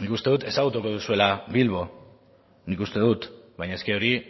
nik uste dut ezagutuko duzuela bilbo nik uste dut baina eske hori